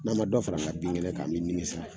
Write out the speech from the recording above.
N'an ma dɔ fara an ka bin kɛnɛ kan an bɛ nimisa.